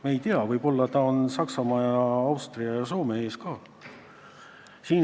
Me ei tea, võib-olla Kreeka on Saksamaa, Austria ja Soome ees ka.